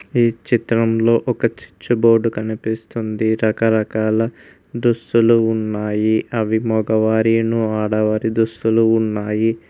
ఈ చిత్రంలో ఒక చిచ్చు బోర్డు కనిపిస్తుంది రకరకాల దుస్తులు ఉన్నాయి అవి మొగవారియున్ను ఆడవారి దుస్తులు ఉన్నాయి.